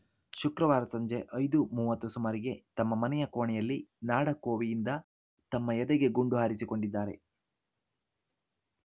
ಶುಕ್ರವಾರ ಸಂಜೆ ಐದು ಮೂವತ್ತು ಸುಮಾರಿಗೆ ತಮ್ಮ ಮನೆಯ ಕೋಣೆಯಲ್ಲಿ ನಾಡ ಕೋವಿಯಿಂದ ತಮ್ಮ ಎದೆಗೆ ಗುಂಡು ಹಾರಿಸಿ ಕೊಂಡಿದ್ದಾರೆ